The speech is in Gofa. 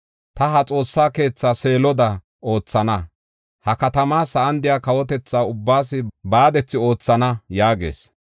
ta ha xoossa keethaa Seeloda oothana. Ha katamaa sa7an de7iya kawotethata ubbaas baadethi oothana” yaagis.